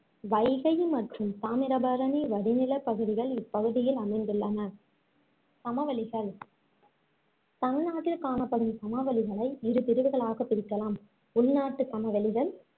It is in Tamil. வைகை மற்றும் தாமிரபரணி வடிநிலப் பகுதிகள் இப்பகுதியில் அமைந்துள்ளன சமவெளிகள் தமிழ்நாட்டில் காணப்படும் சமவெளிகளை இரு பிரிவுகளாகப் பிரிக்கலாம் உள்நாட்டு சமவெளிகள்,